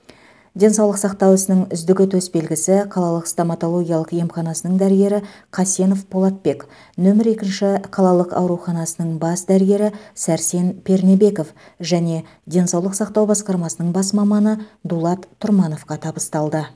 денсаулық сақтау ісінің үздігі төсбелгісі қалалық стоматологиялық емханасының дәрігері қасенов полатбек нөмір екінші қалалық ауруханасының бас дәрігері сәрсен пернебеков және денсаулық сақтау басқармасының бас маманы дулат тұрмановқа табысталды